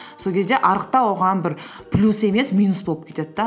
сол кезде арықтау оған бір плюс емес минус болып кетеді де